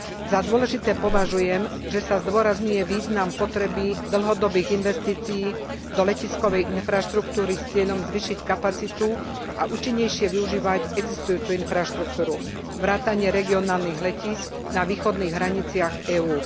Za dôležité považujem, že sa zdôrazňuje význam potreby dlhodobých investícií do letiskovej infraštruktúry s cieľom zvýšiť kapacitu a účinnejšie využívať existujúcu infraštruktúru vrátane regionálnych letísk na východných hraniciach EÚ.